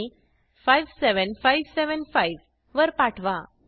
आणि 57575 वर पाठवा